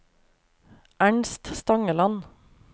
Ernst Stangeland